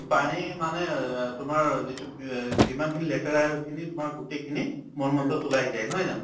পানী মানে অ তোমাৰ যিটো পি যিমানখিনি লেতেৰাখিনি তোমাৰ গোটেইখিনি মলমূত্ৰত ওলাই যায় নহয় জানো